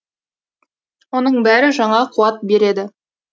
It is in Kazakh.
оның бәрі жаңа қуат береді